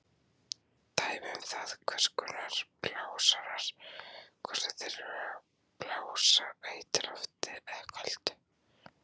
Dæmi um það eru hvers konar blásarar, hvort sem þeir blása heitu lofti eða köldu.